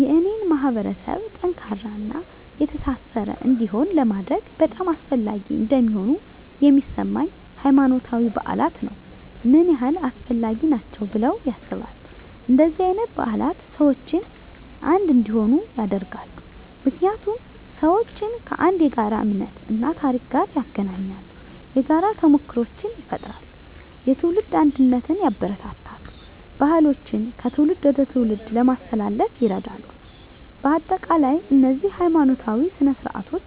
የኔን ማህበረሰብ ጠንካራና የተሳሰረ እንዲሆን ለማድረግ በጣም አስፈላጊ እንደሆኑ የሚሰማኝ፦ ** ሃይማኖታዊ በዓላት ነው **ምን ያህል አስፈላጊ ናቸው ብለው ያስባሉ? እንደነዚህ አይነት በዓላት ሰዎችን አንድ እንዲሆኑ ያደርጋሉ። ምክንያቱም ሰዎችን ከአንድ የጋራ እምነት እና ታሪክ ጋር ያገናኛሉ። የጋራ ተሞክሮዎችን ይፈጥራሉ፣ የትውልድ አንድነትን ያበረታታሉ፣ ባህሎችን ከትውልድ ወደ ትውልድ ለማስተላለፍ ይረዳሉ። በአጠቃላይ፣ እነዚህ ሀይማኖታዊ ሥነ ሥርዓቶች